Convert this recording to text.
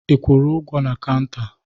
Ị kwụrụ ụgwọ na kanta?